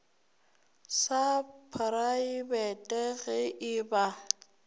sa praebete ge e ba